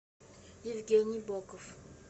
евгений боков